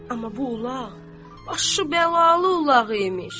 Amma bu ulaq başı bəlalı ulaq imiş.